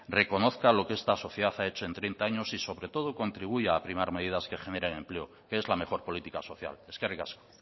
reconozca lo que esta sociedad ha hecho en treinta años y sobre todo contribuya a primar medidas que generen empleo que es la mejor política social eskerrik asko